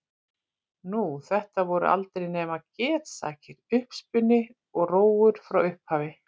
Nú, þetta voru aldrei nema getsakir, uppspuni og rógur frá upphafi.